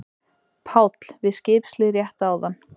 PÁLL: Við skipshlið rétt áðan.